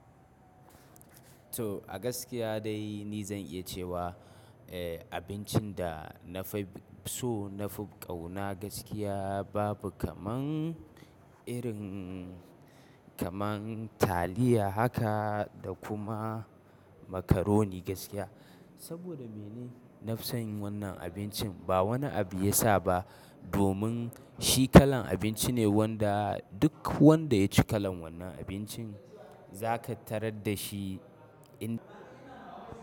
To a gaskiya dai ni zan iya cewa eh abincin da na fi so na fi ƙauna gaskiya babu kaman irin kaman taliya haka da kuma macaroni gaskiya. Saboda me ne nafi son yin wannan abincin ba wani abu ya sa ba domin shi kalan abinci ne wanda duk wanda ya ci kalan wannan abincin za ka tarar da shi in.